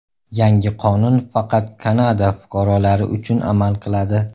Yangi qonun faqat Kanada fuqarolari uchun amal qiladi.